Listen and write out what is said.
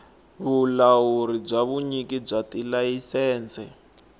vulawuri bya vunyiki bya tilayisense